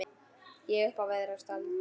Ég upp veðrast allur.